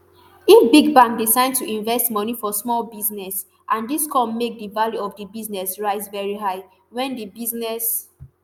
if big bank decide to invest moni for small business and dis come make di value of di business rise veri high wen di business